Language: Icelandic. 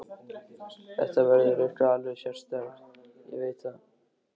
Þetta verður eitthvað alveg sérstakt, ég veit það.